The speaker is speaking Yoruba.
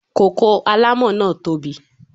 Koko alámọ̀ náà tó bi.